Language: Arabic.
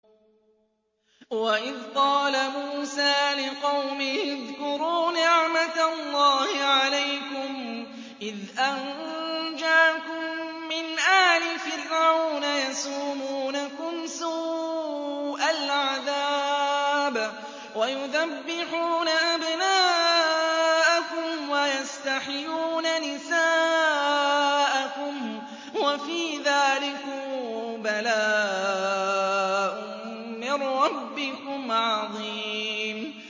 وَإِذْ قَالَ مُوسَىٰ لِقَوْمِهِ اذْكُرُوا نِعْمَةَ اللَّهِ عَلَيْكُمْ إِذْ أَنجَاكُم مِّنْ آلِ فِرْعَوْنَ يَسُومُونَكُمْ سُوءَ الْعَذَابِ وَيُذَبِّحُونَ أَبْنَاءَكُمْ وَيَسْتَحْيُونَ نِسَاءَكُمْ ۚ وَفِي ذَٰلِكُم بَلَاءٌ مِّن رَّبِّكُمْ عَظِيمٌ